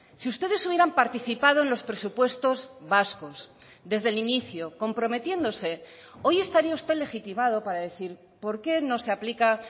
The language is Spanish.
si ustedes hubieran participado en los presupuestos vascos desde el inicio comprometiéndose hoy estaría usted legitimado para decir por qué no se aplica